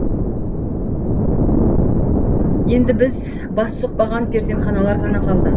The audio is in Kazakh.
енді біз бас сұқпаған перзентханалар ғана қалды